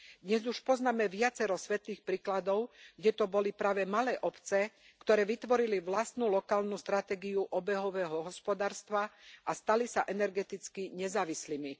Dnes už poznáme viacero svetlých príkladov, kde to boli práve malé obce, ktoré vytvorili vlastnú lokálnu stratégiu obehového hospodárstva a stali sa energeticky nezávislými.